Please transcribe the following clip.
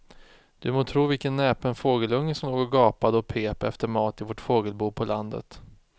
Du må tro vilken näpen fågelunge som låg och gapade och pep efter mat i vårt fågelbo på landet.